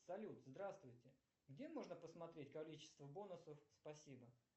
салют здравствуйте где можно посмотреть количество бонусов спасибо